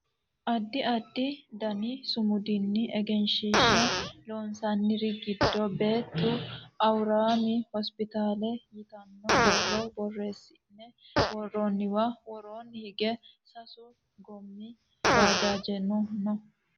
Addi addi dani sumudinni egenshiishsha loonsanniri giddo bete awuraami hospitaale yitanno borro borreessine worroonniwa woroonni hige sasu goommi bajaajeno no